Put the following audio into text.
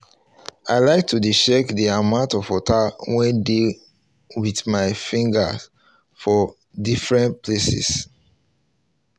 i like to dey check the amount of water wey dey with my finger for defferents places